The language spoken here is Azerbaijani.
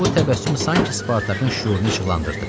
Bu təbəssüm sanki Spartakın şüurunu işıqlandırdı.